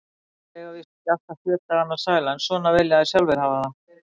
Þeir eiga víst ekki alltaf sjö dagana sæla, en svona vilja þeir sjálfir hafa það.